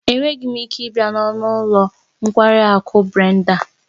Enweghị m ike ịbịa n'ọnụ ụlọ nkwari akụ Brenda